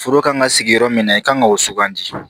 Foro ka kan ka sigi yɔrɔ min na i kan k'o sugandi